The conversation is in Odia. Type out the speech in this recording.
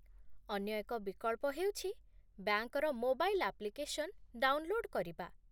ଅନ୍ୟ ଏକ ବିକଳ୍ପ ହେଉଛି ବ୍ୟାଙ୍କର ମୋବାଇଲ୍ ଆପ୍ଲିକେସନ୍ ଡାଉନଲୋଡ କରିବା